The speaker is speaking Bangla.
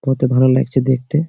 কত ভালো ল্যাগছে দেখতে ।